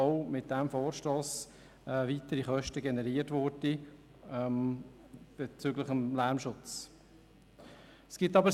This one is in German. Auch würden mit dem Vorstoss weitere Kosten bezüglich des Lärmschutzes generiert werden.